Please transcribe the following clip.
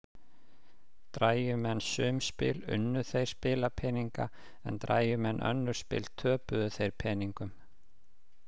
Drægju menn sum spil unnu þeir spilapeninga en drægju menn önnur spil töpuðu þeir peningum.